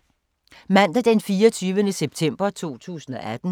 Mandag d. 24. september 2018